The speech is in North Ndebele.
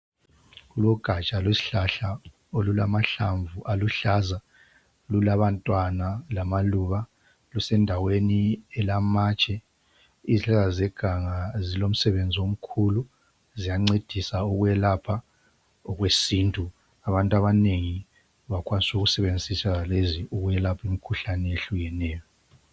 Lugaja lwesihlahla olulama hlamvu aluhlaza lulabantwana lamaluba lusendaweni elamatshe, izihlahla zeganga ziyancedisa ukwelapha okwesintu imkhuhlane etshiyeneyo.